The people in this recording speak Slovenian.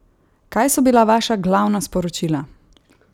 Kaj so bila vaša glavna sporočila?